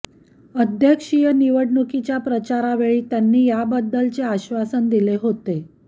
अध्यक्षीय निवडणुकीच्या प्रचारावेळी त्यांनी याबद्दलचे आश्वासन दिले होते